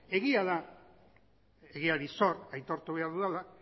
egia da egiari zor aitortu behar dudala